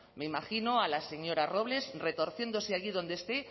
me imagino a la señoras robles retorciéndose allí donde esté